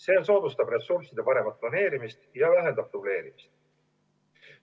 See soodustab ressursside paremat planeerimist ja vähendab dubleerimist.